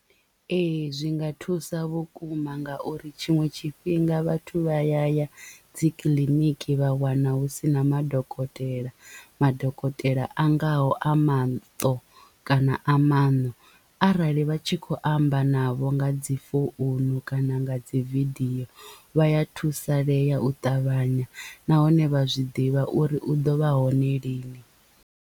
Ee zwi nga thusa vhukuma ngauri tshiṅwe tshifhinga vhathu vha ya ya dzi kiḽiniki vha wana hu sina madokotela madokotela a ngaho a maṱo kana a maṋo arali vha tshi kho amba navho nga dzi founu kana nga dzi video vha ya thusalea u ṱavhanya nahone vha zwi ḓivha uri u ḓo vha hone lini.